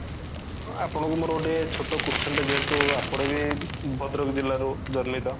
ଆପଣଙ୍କୁ ମୋର ଗୋଟେ ଛୋଟ question ଟେ ଯେହେତୁ ଆପଣ ବି ଭଦ୍ରକ ଜିଲ୍ଲା ରୁ ଜର୍ନୀତ